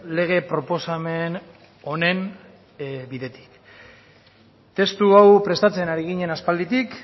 lege proposamen honen bidetik testu hau prestatzen ari ginen aspalditik